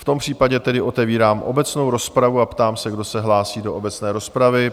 V tom případě tedy otevírám obecnou rozpravu a ptám se, kdo se hlásí do obecné rozpravy?